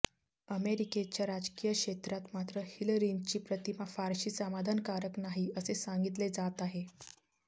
अमेरिकेच्या राजकीय क्षेत्रात मात्र हिलरींची प्रतिमा फारशी समाधानकारक नाही असे सांगितले जात आहे